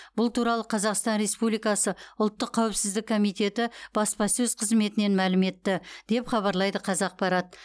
бұл туралы қазақстан республикасы ұлттық қауіпсіздік комитеті баспасөз қызметінен мәлім етті деп хабарлайды қазақпарат